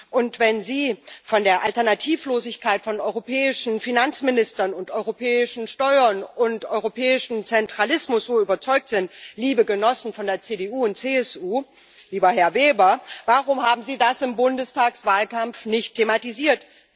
Und wenn Sie von der Alternativlosigkeit von europäischen Finanzministern, den europäischen Steuern und europäischem Zentralismus überzeugt sind, liebe Genossen von der CDU und CSU, lieber Herr Weber, warum haben Sie das im Bundestagswahlkampf nicht thematisiert?